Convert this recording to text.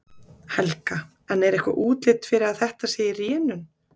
Helga: En er eitthvað útlit fyrir að þetta sé í rénun?